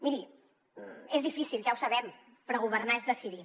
miri és difícil ja ho sabem però governar és decidir